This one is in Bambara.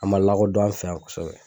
A ma lakɔdɔn an' fɛ yan kosɛbɛ.